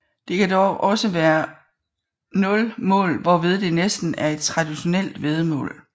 Det kan dog også være 0 mål hvorved det næsten er et traditionelt væddemål